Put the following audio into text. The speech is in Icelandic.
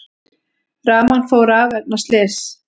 Rafmagn fór af vegna slyss